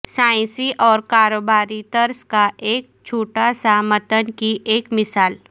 سائنسی اور کاروباری طرز کا ایک چھوٹا سا متن کی ایک مثال